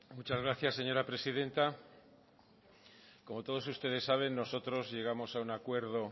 muchas gracias señora presidenta como todos ustedes saben nosotros llegamos a un acuerdo